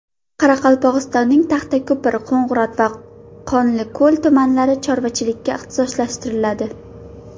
Qoraqalpog‘istonning Taxtako‘pir, Qo‘ng‘irot va Qonliko‘l tumanlari chorvachilikka ixtisoslashtiriladi.